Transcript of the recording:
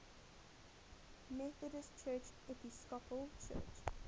methodist episcopal church